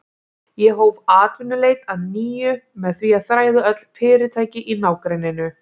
Ég hóf atvinnuleit að nýju með því að þræða öll fyrirtæki í nágrenninu.